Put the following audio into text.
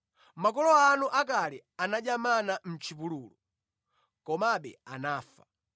Makolo anu akale anadya mana mʼchipululu, komabe anafa.